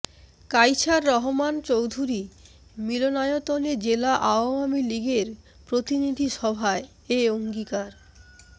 কাইছার রহমান চৌধুরী মিলনায়তনে জেলা আওয়ামী লীগের প্রতিনিধি সভায় এ অঙ্গীকার